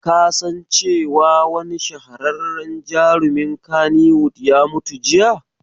Ka san cewa wani shahararren jarumin kannywood ya mutu jiya?